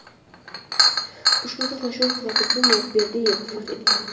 Ushbu to‘qnashuv oqibatida Timur Berdiyev vafot etgan.